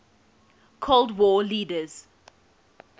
cold war leaders